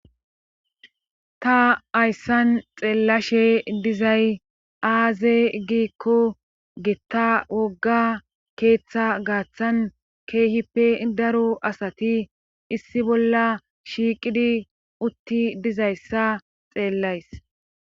Ta hayssan xeellashe dizay aaze giikko gitta wogga keeththa gaaththan keehippe daro asati issi bolla shiiqidi utti dizayssa xeellays